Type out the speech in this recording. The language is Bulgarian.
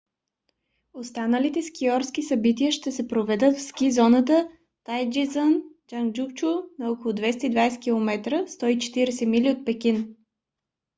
останалите скиорски събития ще се проведат в ски зоната тайдзичън джанджиаку на около 220 км 140 мили от пекин